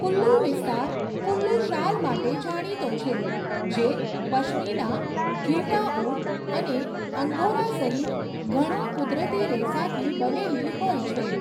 કુલ્લુ વિસ્તાર કુલ્લુ શાલ માટે જાણીતો છે, જે પશ્મિના, ઘેટાં ઊન અને અંગોરા સહિત ઘણા કુદરતી રેસાથી બનેલી હોય છે.